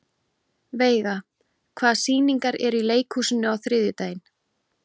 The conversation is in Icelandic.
Veiga, hvaða sýningar eru í leikhúsinu á þriðjudaginn?